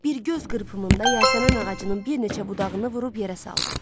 Bir göz qırpımında yasəmən ağacının bir neçə budağını vurub yerə saldı.